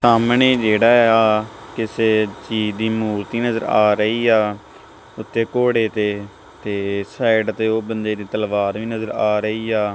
ਸਾਹਮਣੇ ਜੇਹੜਾ ਆ ਕਿਸੇ ਚੀਜ ਦੀ ਮੂਰਤੀ ਨਜ਼ਰ ਆ ਰਹੀ ਆ ਓੱਤੇ ਘੋੜੇ ਤੇ ਤੇ ਸਾਈਡ ਤੇ ਓਹ ਬੰਦੇ ਦੀ ਤਲਵਾਰ ਵੀ ਨਜ਼ਰ ਆ ਰਹੀ ਆ।